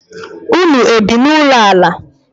Ụnụ ebi na ụlọ ala?